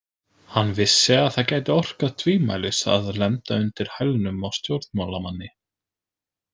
Hann vissi að það gæti orkað tvímælis að lenda undir hælnum á stjórnmálamanni.